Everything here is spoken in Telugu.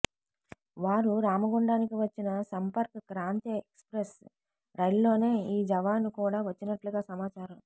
వారు రామగుండానికి వచ్చిన సంపర్క్ క్రాంతి ఎక్స్ప్రెస్ రైలులోనే ఈ జవాను కూడా వచ్చినట్లుగా సమాచారం